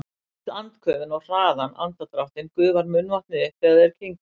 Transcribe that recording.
Við öll andköfin og hraðan andardráttinn gufar munnvatnið upp þegar þeir kyngja.